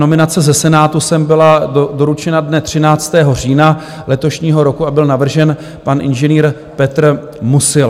Nominace ze Senátu sem byla doručena dne 13. října letošního roku a byl navržen pan inženýr Petr Musil.